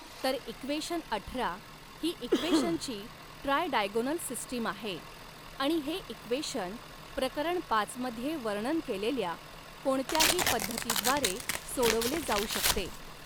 तर इक्वेशन अठरा ही इक्वेशनची ट्रायडायगॊनल सिस्टीम आहे आणि हे इक्वेशन प्रकरण पाच मध्ये वर्णन केलेल्या कोणत्याही पद्धतीद्वारे सोडवले जाऊ शकते.